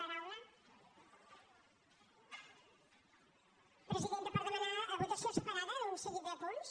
presidenta per demanar votació separada d’un seguit de punts